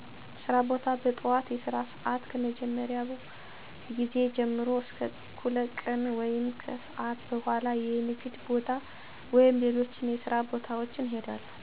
ሥራ ቦታ – በጠዋት የሥራ ሰዓት ከመጀመሪያው ጊዜ ጀምሮ እስከ እኩለ ቀን ወይም ከሰአት በኋላ የንግድ ቦታ ወይም ሌሎች የሥራ ቦታዎች እሄዳለሁ።